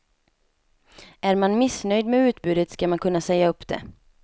Är man missnöjd med utbudet skall man kunna säga upp det.